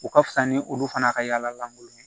U ka fisa ni olu fana ka yalakolon ye